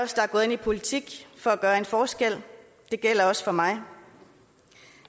gået ind i politik for at gøre en forskel det gælder også mig